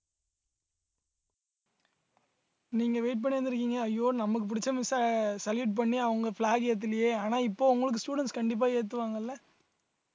நீங்க wait பண்ணிட்டு இருந்திருக்கீங்க ஐயோ நமக்கு பிடிச்ச miss அ salute பண்ணி அவங்க flag ஆ ஏத்தலையே ஆனா இப்போ உங்களுக்கு students கண்டிப்பா ஏத்துவாங்கல்ல